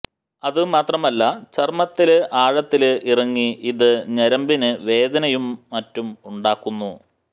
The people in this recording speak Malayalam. അത് മാത്രമല്ല ചര്മ്മത്തില് ആഴത്തില് ഇറങ്ങി ഇത് ഞരമ്പിന് വേദനയും മറ്റും ഉണ്ടാക്കുന്നു